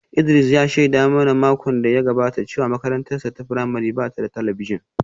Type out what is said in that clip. Idris ya shaida mana a makon da ya gabata cewa makarantarsa ​​ta firamare ba ta da talabijin